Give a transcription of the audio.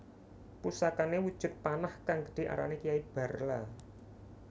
Pusakane wujud panah kang gedhe arane Kiai Barla